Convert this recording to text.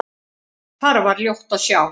Þar var ljótt að sjá.